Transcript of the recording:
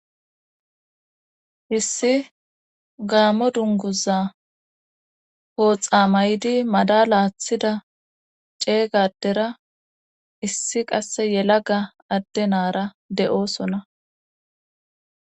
issi gaammo dunguza pooxa maydi madala athida ceeyga adera issi qasse yelaga adde naara de'oosona